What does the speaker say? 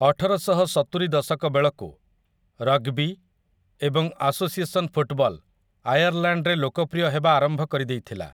ଅଠରଶହସତୁରି ଦଶକ ବେଳକୁ, ରଗ୍‌ବି ଏବଂ ଆସୋସିଏସନ୍ ଫୁଟ୍‌ବଲ୍‌ ଆୟର୍ଲ‍୍ୟାଣ୍ଡରେ ଲୋକପ୍ରିୟ ହେବା ଆରମ୍ଭ କରିଦେଇଥିଲା ।